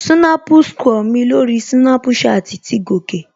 Snap score mi lórí Snapchat ti gòkè